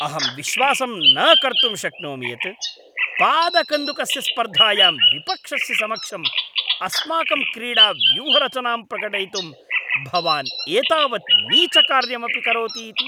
अहं विश्वासं न कर्तुं शक्नोमि यत् पादकन्दुकस्य स्पर्धायां विपक्षस्य समक्षम् अस्माकं क्रीडाव्यूहरचनां प्रकटयितुं भवान् एतावत् नीचकार्यमपि करोति इति।